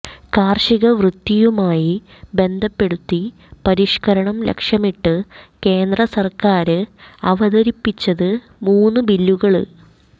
കാര്ഷിക വൃത്തിയുമായി ബന്ധപ്പെടുത്തി പരിഷ്ക്കരണം ലക്ഷ്യമിട്ട് കേന്ദ്രസര്ക്കാര് അവതരിപ്പിച്ചത് മൂന്നു ബില്ലുകള്